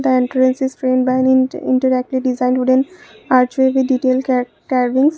the entrance is designed by interactive design wooden archery detailed ca cabin.